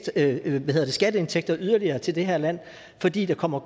skabe skatteindtægter yderligere til det her land fordi der kommer